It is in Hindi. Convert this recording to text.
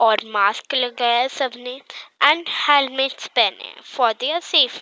और मास्क लगाया है सबने एण्ड हेलमेट्स पहने हैं फॉर दीयर सेफ़्टी ।